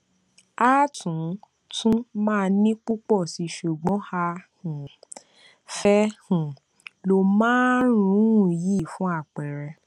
a tún tún màa ní pùpò síi ṣùgbón a um fé um lo márùnún yìí fún àpẹẹrẹ